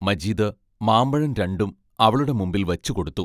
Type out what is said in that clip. മജീദ് മാമ്പഴം രണ്ടും അവളുടെ മുമ്പിൽ വച്ചുകൊടുത്തു.